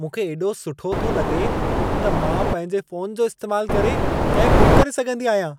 मूंखे एॾो सुठो थो लॻे त मां पंहिंजे फोन जो इस्तैमाल करे कैब बुक करे सघंदी आहियां।